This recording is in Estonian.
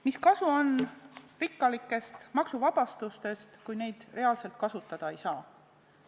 Mis kasu on rikkalikest maksuvabastustest, kui neid reaalselt kasutada ei saa?